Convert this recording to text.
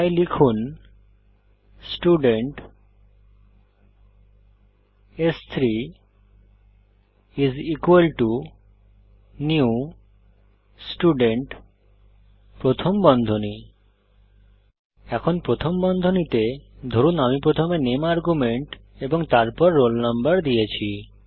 তাই লিখুন student s3 new Student এখন প্রথম বন্ধনীতে ধরুন আমি প্রথমে নামে আর্গুমেন্ট এবং তারপর রোল নাম্বার দিয়েছি